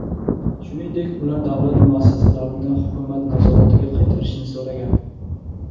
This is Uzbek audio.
Shuningdek, ular davlat muassasalarini hukumat nazoratiga qaytarishni so‘ragan.